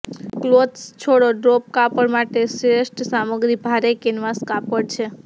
clothes છોડો drop કાપડ માટે શ્રેષ્ઠ સામગ્રી ભારે કેનવાસ કાપડ છે